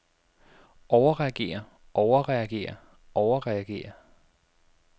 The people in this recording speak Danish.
overreagere overreagere overreagere